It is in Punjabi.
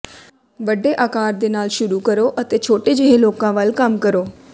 ਵੱਡੇ ਆਕਾਰ ਦੇ ਨਾਲ ਸ਼ੁਰੂ ਕਰੋ ਅਤੇ ਛੋਟੇ ਜਿਹੇ ਲੋਕਾਂ ਵੱਲ ਕੰਮ ਕਰੋ